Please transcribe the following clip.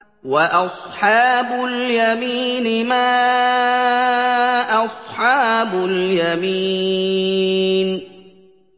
وَأَصْحَابُ الْيَمِينِ مَا أَصْحَابُ الْيَمِينِ